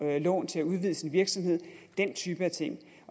lån til at udvide sin virksomhed den type af ting